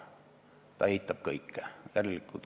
Ta eitab kõike.